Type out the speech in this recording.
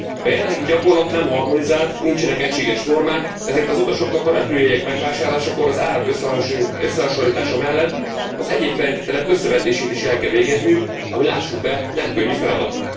A jelenlegi gyakorlat nem harmonizált, nincsenek egységes normák, ezért az utasoknak a repülőjegyek megvásárlásakor az árak összehasonlítása mellett az egyéb feltételek összevetését is el kell végezniük, ami lássuk be, nem könnyű feladat.